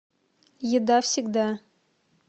еда всегда